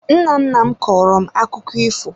Nna nna m kọọrọ m akụkọ ifo